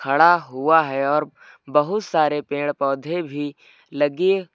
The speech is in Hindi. खड़ा हुआ है और बहुत सारे पेड़ पौधे भी लगी--